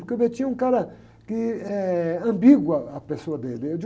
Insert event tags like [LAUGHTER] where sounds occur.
Porque o [UNINTELLIGIBLE] é um cara que é ambígua a pessoa dele. [UNINTELLIGIBLE]